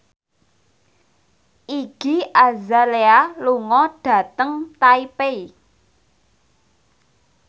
Iggy Azalea lunga dhateng Taipei